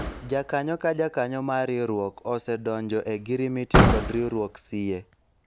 jakanyo ka jakanyo mar riwruok osedonjo e ogirimiti kod riwruok siye